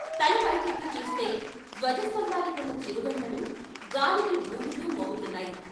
తల పై కెత్తి చూస్తే ధ్వజ స్తంభానికున్న చిరుగంటలు గాలికి వూగుతూ మోగు తున్నాయి.